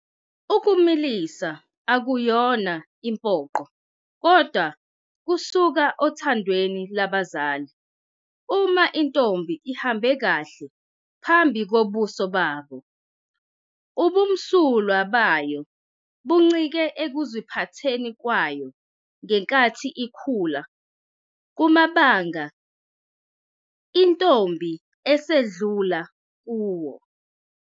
Ukumulisa ukuyona impoqo kodwa kusuka othandweni lwabazali uma intombi ihambe kahle phambi kobuso babo. Ubumsulwa bayo buncike ekuziphatheni kwayo ngenkathi ikhula kumabanga intombi esidlula kuwo.